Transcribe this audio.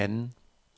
anden